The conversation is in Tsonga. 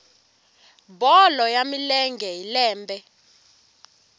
bolo ya milenge hi lembe